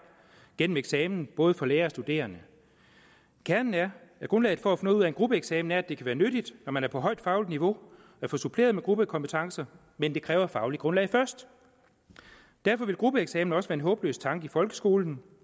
gennem eksamen både for lærere og studerende kernen er at grundlaget for at noget ud af en gruppeeksamen er at det kan være nyttigt når man er på højt fagligt niveau at få suppleret med gruppekompetencer men det kræver et fagligt grundlag først derfor vil gruppeeksamener også være en håbløs tanke i folkeskolen